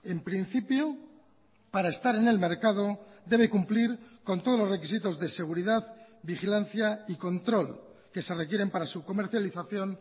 en principio para estar en el mercado debe cumplir con todos los requisitos de seguridad vigilancia y control que se requieren para su comercialización